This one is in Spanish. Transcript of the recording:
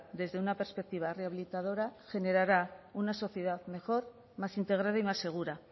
desde una perspectiva rehabilitadora generará una sociedad mejor más integrada y más segura